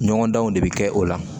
Ɲɔgɔn danw de bɛ kɛ o la